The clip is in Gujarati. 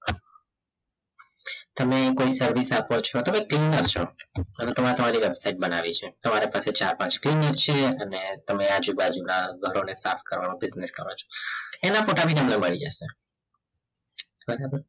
તમે કોઈ service આપો છો તમે trainer છો તમે તમારી વેબસાઈટ બનાવી છે તમારે પાસે ચાર પાંચ છે અને તમે આજુબાજુના ઘરોને કરો છો એના ફોટા પણ તમારા પાસે આવી જશે બરાબર